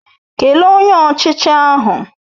Kelee Onye Ọchịchị ahụ!